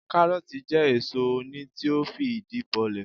Káárótì jẹ́ èso oni tí ó fìdí bolẹ̀